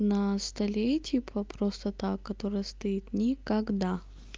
на столе типа просто так которая стоит никогда